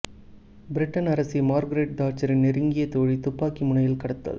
Britain அரசி Margaret தாட்சரின் நெருங்கிய தோழி துப்பாக்கி முனையில் கடத்தல்